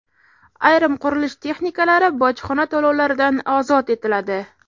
Ayrim qurilish texnikalari bojxona to‘lovlaridan ozod etiladi.